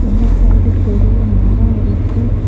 இந்த சைடு பெரிய மரோ இருக்கு.